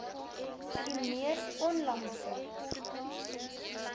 u mees onlangse